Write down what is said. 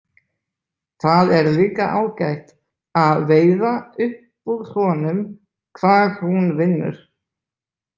Það er líka ágætt að veiða upp úr honum hvar hún vinnur.